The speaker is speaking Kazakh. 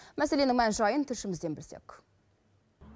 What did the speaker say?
мәселенің мән жайын тілшімізден білсек